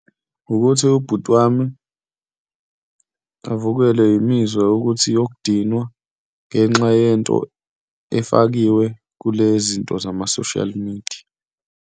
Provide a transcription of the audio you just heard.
Ukuthi ubhuti wami avukelwe imizwa yokuthi yokudinwa ngenxa yento efakiwe kulezinto zama-social media.